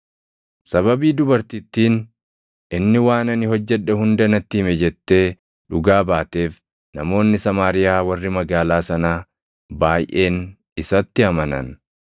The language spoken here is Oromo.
Sababii dubartittiin, “Inni waan ani hojjedhe hunda natti hime” jettee dhugaa baateef namoonni Samaariyaa warri magaalaa sanaa baayʼeen isatti amanan.